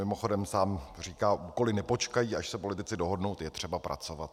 Mimochodem, sám říká: úkoly nepočkají, až se politici dohodnou, je třeba pracovat.